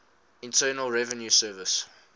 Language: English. internal revenue service